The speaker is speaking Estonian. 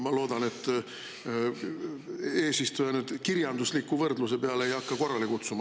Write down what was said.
Ma loodan, et eesistuja ei hakka mind kirjandusliku võrdluse peale siin korrale kutsuma.